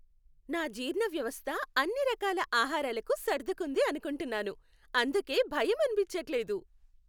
నా జీర్ణ వ్యవస్థ అన్ని రకాల ఆహారాలకు సర్దుకుంది అనుకుంటున్నాను, అందుకే భయం అనిపించట్లేదు.